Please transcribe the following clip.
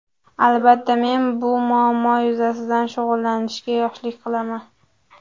Albatta, men bu muammo yuzasidan shug‘ullanishga yoshlik qilaman.